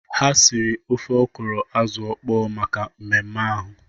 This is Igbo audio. Ha siri ofe ọkwụrụ azụ ọkpọ maka mmemme ahụ.